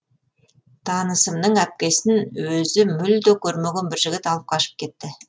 танысымның әпкесін өзі мүлде көрмеген бір жігіт алып қашып кетті